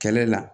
Kɛlɛ la